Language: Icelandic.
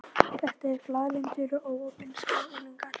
Þetta eru glaðlyndir og opinskáir unglingar.